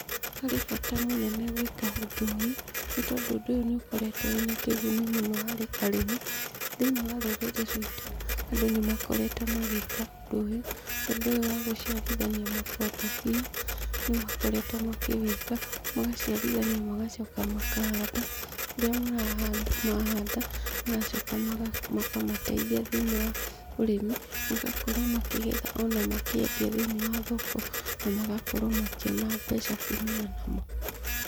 Harĩ bata mũnene gwĩka ũndũ ũyũ, nĩ tondũ ũndũ ũyũ nĩ ũkoretwo wĩna kĩguni mũno harĩ arĩmi. Thĩiniĩ wa rũrĩrĩ ruitũ, andũ nĩ makoretwo magĩka ũndũ ũyũ. Ũndũ ũyũ wa gũciarithania makondobia, nĩ makoretwo makĩwĩka, magaciarithania magacoka makahanda. Kũrĩa mahanda, mahanda, magacoka makamateithia thĩiniĩ wa ũrĩmi, magakorwo makĩgetha ona makĩendia thĩiniĩ wa thoko na magakorwo makĩona mbeca kumana namo.